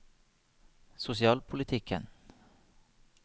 sosialpolitikken